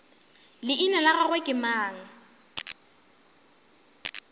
leina la gagwe ke mang